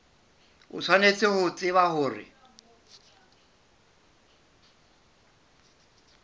o tshwanetse ho tseba hore